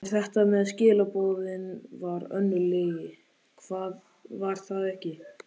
En þetta með skilaboðin var önnur lygi, var það ekki?